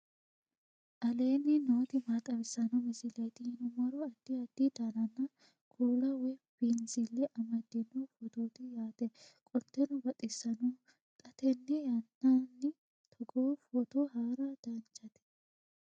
aleenni nooti maa xawisanno misileeti yinummoro addi addi dananna kuula woy biinsille amaddino footooti yaate qoltenno baxissannote xa tenne yannanni togoo footo haara danvchate